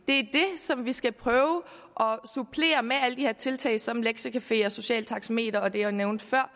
det som vi skal prøve at supplere med alle de her tiltag som lektiecafé socialt taxameter og det jeg nævnte før